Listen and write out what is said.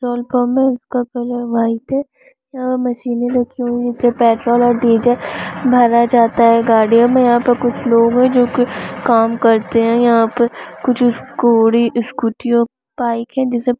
है इसका colour white है यहाँ मशीने रखी हुई है इससे पेट्रोल और डीजल भरा जाता है गाड़ियों मे यहाँ पे कुछ लोग है जो की काम करते है यहाँ पे कुछ स्कूडी स्कुटी और बाइक है जिसे--